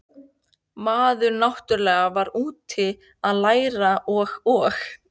maður náttúrlega var úti að læra og og